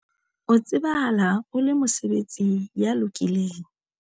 o tsebahala o le mosebeletsi ya lokileng